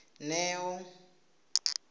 neo